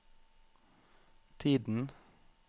tiden